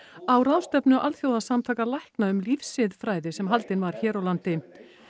á ráðstefnu alþjóðasamtaka lækna um lífsiðfræði sem haldin var hér á landi